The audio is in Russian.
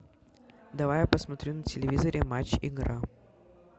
давай я посмотрю на телевизоре матч игра